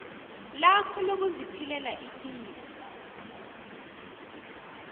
lakho lokuziphilela ipilo